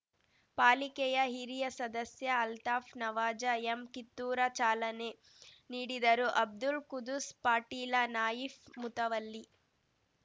ಪಾಲಿಕೆಯ ಹಿರಿಯ ಸದಸ್ಯ ಅಲ್ತಾಫ್ ನವಾಜ ಎಮ್ ಕಿತ್ತೂರ ಚಾಲನೆ ನೀಡಿದರುಅಬ್ದುಲ್‌ ಕುದುಸ್ ಪಾಟೀಲ ನಾಯಿಫ್ ಮುತವಲ್ಲಿ